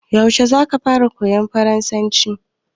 Yaushe zaka fara koyan farasanci?